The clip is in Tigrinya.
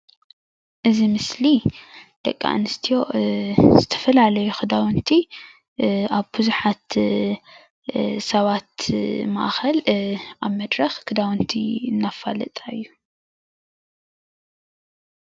እዚ ምስሊ ደቂ ኣነስትዮ ትዝፈላለዩ ክዳውቲ ኣብ ቡዙሓት ሰባት ማእከል ኣብ መድረክ ክዳውንቲ እንዳፋለጣ እዩ፡፡